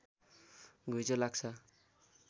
घुइँचो लाग्छ